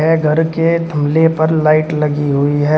घर के थामले पर लाइट लगी हुई है।